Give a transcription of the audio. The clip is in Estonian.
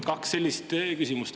Kaks sellist küsimust.